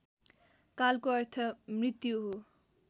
कालको अर्थ मृत्यु हो